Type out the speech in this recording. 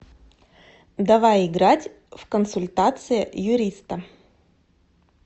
давай играть в консультация юриста